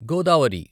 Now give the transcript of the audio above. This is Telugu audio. గోదావరి